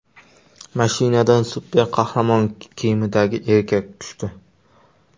Mashinadan super qahramon kiyimidagi erkak tushdi.